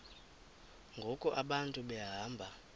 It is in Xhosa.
ngoku abantu behamba